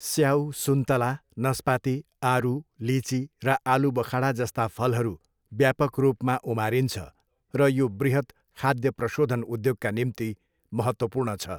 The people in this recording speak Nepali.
स्याउ, सुन्तला, नस्पाती, आरु, लिची, र आलुबखडा जस्ता फलहरू व्यापक रूपमा उमारिन्छ र यो बृहत् खाद्य प्रशोधन उद्योगका निम्ति महत्त्वपूर्ण छ।